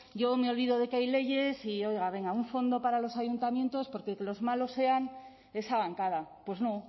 yo me olvido de que hay leyes y oiga venga un fondo para los ayuntamientos porque los malos sean esa bancada pues no